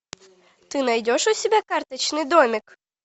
ты найдешь у себя карточный домик